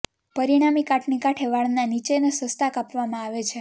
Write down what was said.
પરિણામી કાટની કાંઠે વાળના નીચેના સસ્તાં કાપવામાં આવે છે